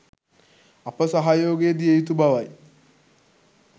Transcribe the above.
අප සහයෝගය දිය යුතු බවයි.